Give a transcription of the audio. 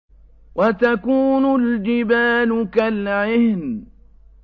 وَتَكُونُ الْجِبَالُ كَالْعِهْنِ